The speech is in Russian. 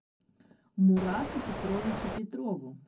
мурату петровичу петрову